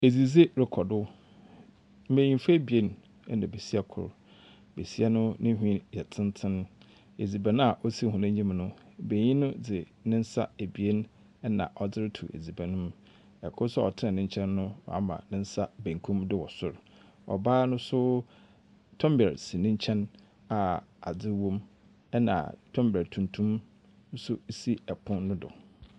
Adzidzi rekɔdo, mmanyifoɔ abien ɛna besia koro, besia ne nwi yɛ tenten. Adziban a wɔsi wɔn anim no, bayin dze ne nsa abien na ɔde reto adziban no mu, ɛkoro so a ɔtena nekyɛn no wama nensa benkum do wɔ soro. Ɔbaa no nso tɔmblɛ si nenkyɛn a adze wɔm ɛna tɔmblɛ tuntum nso si ɛpono no do.